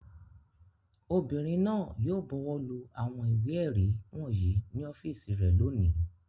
Obìnrin náà yóò bọwọ́lu àwọn ìwé-ẹ̀rí wọ̀nyí ní ọ́fíísì rẹ̀ lónìí.